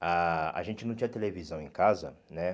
a a gente não tinha televisão em casa, né?